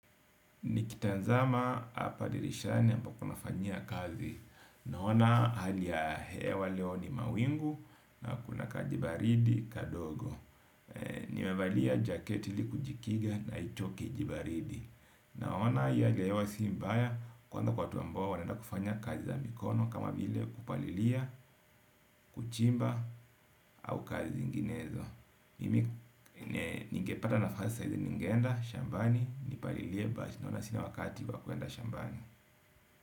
Nikitazama hapa dirishani ambapo nafanyia kazi naona hali ya hewa leo ni mawingu na kuna kajibaridi kadogo. Nimevali jaketili kujikiga na icho kijibaridi. Naona hiya leo si mbaya kwanza kwa watu ambao wanaenda kufanya kazi za mikono. Kama vile kupalilia, kuchimba au kazi zinginezo. Mimi nikipata nafasi saa hizi ningeenda shambani, nipalilie 'but' naona sina wakati wa kwenda shambani.